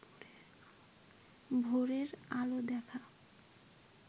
ভোরের আলো দেখা